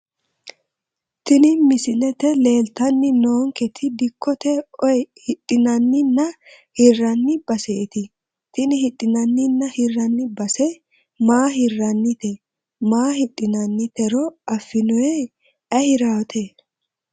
Tini misilete leeltani noonketi dikkote oyi hidhinaninna hirani baseeti tini hidhinaninna hirani base maa hiranite maa hidhinanitero afinooni ayi hirawote.